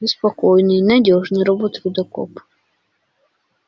ты спокойный надёжный робот-рудокоп